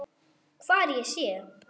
Hvar ég sé.